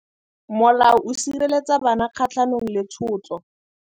Molao o sireletsa bana kgatlhanong le tshotlo.